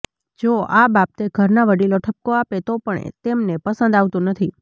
જો આ બાબતે ઘરના વડીલો ઠપકો આપે તો પણ તેમને પસંદ આવતું નથી